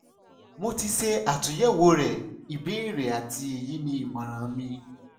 mo ti ṣe atunyẹwo rẹ ibeere ati eyi ni imọran mi